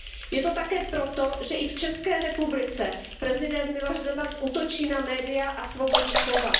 Je to také proto, že i v České republice prezident Miloš Zeman útočí na média a svobodu slova.